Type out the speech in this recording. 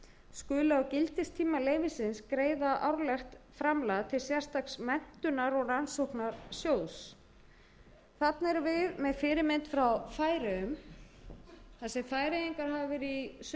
skuli á gildistíma leyfisins greiða árlegt framlag til sérstaks menntunar og rannsóknarsjóðs þarna erum við með fyrirmynd frá færeyjum þar sem færeyingar hafa verið í níu sömu stöðu og við